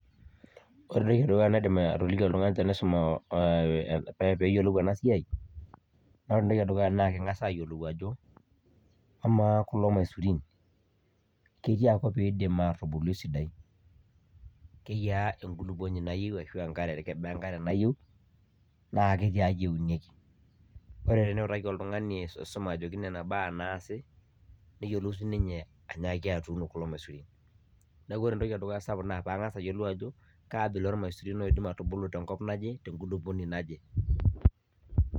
Ore entoki edukuya naidim atoliki oltung'ani tenaisum peyiolou enasiai, ore entoki edukuya na keng'asa ayiolou ajo, amaa kulo maisurin ketiakop idim atubulu esidai? Keyiaa enkulukuoni nayieu ashu enkare kebaa enkare nayieu? Na kaji eunieki? Ore teniutaki oltung'ani aisuma ajoki nena baa naasie, neyiolou sininye anyaaki atuuno kulo maisurin. Neeku ore entoki edukuya sapuk na ping'as ayiolou ajo, kaabila ormaisurin oidim atubulu tenkop naje, tenkulupuoni naje.